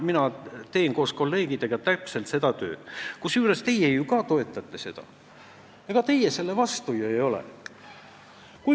Mina teen koos kolleegidega täpselt seda tööd, kusjuures teie ka toetate, teie selle vastu ju ei ole.